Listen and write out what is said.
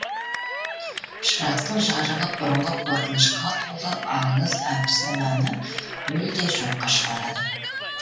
шырақтың жарығы бұрынғы қорқынышқа толы аңыз әпсананы мүлде жоққа шығарады